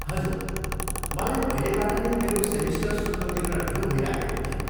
हजुर, मलाई पहिलेबाट नै मेरो सेमिस्टर शुल्क तिर्न ढिलो भइराखेको थियो।